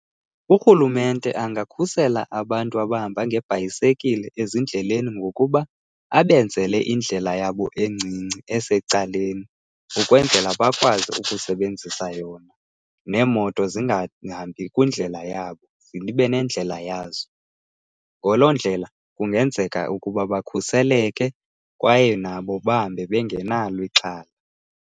Urhulumente angakhusela abantu abahamba ngeebhayisekile ezindleleni ngokuba abenzele indlela yabo encinci esecaleni, ukwenzela bakwazi ukusebenzisa yona neemoto zingahambi kwindlela yabo zibe nendlela yazo. Ngaloo ndlela kungenzeka ukuba bakhuseleke kwaye nabo bahambe bengenalo ixhala.